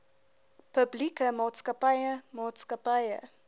publieke maatskappye maatskappye